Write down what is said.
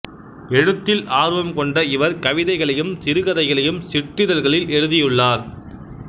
எழுத்தில் ஆர்வம் கொண்ட இவர் கவிதைகளையும் சிறுகதைகளையும் சிற்றிதழ்களில் எழுதியுள்ளார்